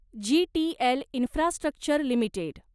GTL infrastructure limited